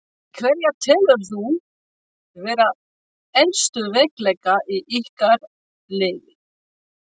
Hverja telurðu vera helstu veikleika í ykkar liði?